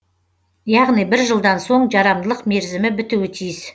яғни бір жылдан соң жарамдылық мерзімі бітуі тиіс